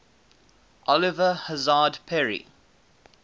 oliver hazard perry